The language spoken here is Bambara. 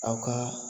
Aw ka